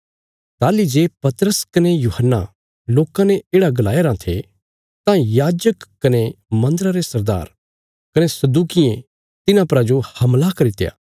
ताहली जे पतरस कने यूहन्ना लोकां ने येढ़ा गलाया राँ थे तां याजक कने मन्दरा रे सरदार कने सदूकियें तिन्हां परा जो हमला करित्या